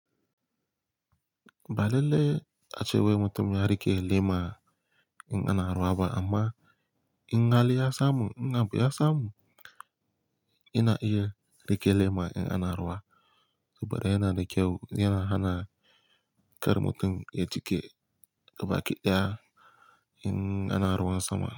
Ba lallai ace wai mutum ya rike lema idan ana ruwa ba, amma idan har ya samu idan abu ya samu. Yana iya rike lema idan ana ruwa. Saboda yana da kyau, yana hana kar mutum ya jike gabaki daya in ana ruwan sama.